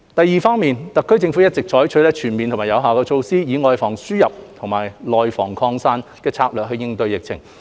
二特區政府一直採取全面有效的措施，以"外防輸入、內防擴散"的策略應對疫情。